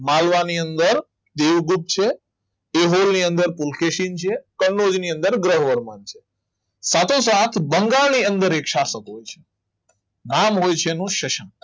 માલવા ની અંદર દેવગુપ્ત છે એહોલ ની અંદર પુલકેશી છે કનોજ ની અંદર ગ્રહ છે સાતો સાત બંગાળની અંદર એક સાફ શકો છે નામ હોય છે એનું શશાંક